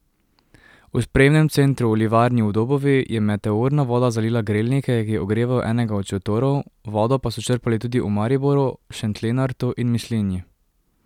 V sprejemnem centru v Livarni v Dobovi je meteorna voda zalila grelnike, ki ogrevajo enega od šotorov, vodo pa so črpali tudi v Mariboru, Šentlenartu in Mislinji.